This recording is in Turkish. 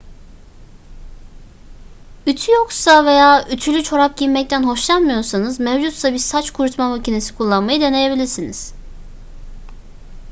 ütü yoksa veya ütülü çorap giymekten hoşlanmıyorsanız mevcutsa bir saç kurutma makinesi kullanmayı deneyebilirsiniz